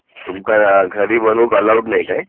तुमका घरी बनूक अलाउड नाही काय